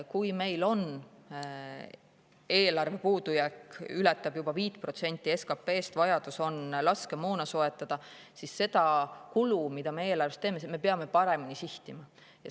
Kui meil eelarve puudujääk ületab juba 5% SKT-st ja vajadus on laskemoona soetada, siis me peame eelarvest tehtavaid kulusid paremini sihtima.